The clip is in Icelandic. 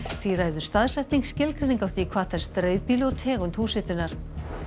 því ræður staðsetning skilgreining á því hvað telst dreifbýli og tegund húshitunar